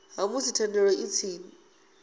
ha musi thendelo i tshi